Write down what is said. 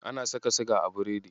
Ana saka siga a biredi.